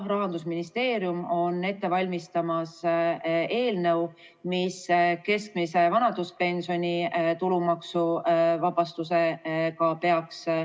Rahandusministeerium on aga ette valmistamas eelnõu, mis peaks hõlmama ka keskmise vanaduspensioni tulumaksuvabastust.